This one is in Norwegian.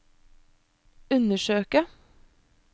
undersøke